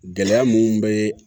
Gɛlɛya mun be